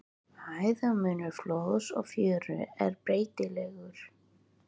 Hæðarmunur flóðs og fjöru er breytilegur.